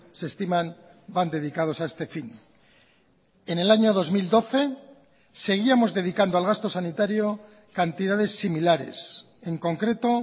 se estiman van dedicados a este fin en el año dos mil doce seguíamos dedicando al gasto sanitario cantidades similares en concreto